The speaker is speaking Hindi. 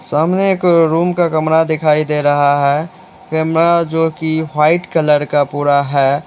सामने एक रूम का कमरा दिखाई दे रहा है कैमरा जो की वाइट कलर का पूरा है।